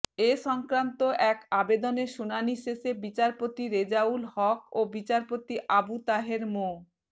এ সংন্তান্ত এক আবেদনের শুনানি শেষে বিচারপতি রেজাউল হক ও বিচারপতি আবু তাহের মো